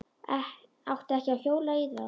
Átti ekki að hjóla í þá.